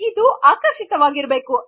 ನೀವು ಆಕರ್ಷಿಕವಾಗಿರಬೇಕು